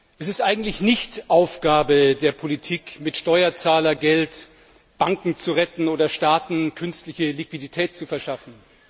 Es ist eigentlich nicht Aufgabe der Politik, mit Steuerzahlergeld Banken zu retten oder Staaten künstliche Liquidität zu verschaffen.